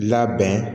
Labɛn